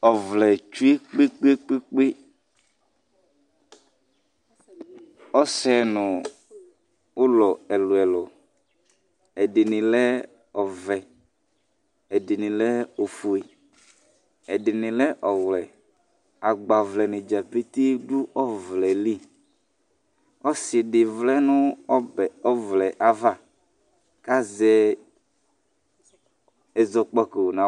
Ɔvlɛ tsʋe kpekpe kpekpe Ɔsɛŋʋ ulɔ ɛlu ɛlu Ɛɖìní le ɔvɛ Ɛɖìní lɛ ɔƒʋe Ɛɖìní lɛ ɔwɛ Agbavlɛnidza pete ɔɖʋɔvlɛli Ɔsiɖi vlɛŋu ɔbɛ ɔvlɛ ava kʋ azɛ ɛzɔkpako